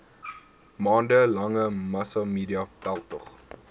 maande lange massamediaveldtog